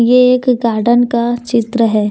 ये एक गार्डन का चित्र है।